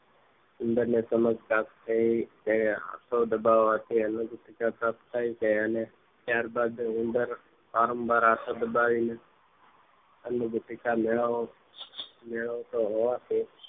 ઉંદરને સમસ્યા માંથી આંખો દબાવાથી અનુજ શિક્ષણ પ્રાપ્ત થાય છે ત્યારબાદ ઉંદર વાંરવાર આંખો દબાઈને અન્ન પેટીકા મેળવો તો હોવાથી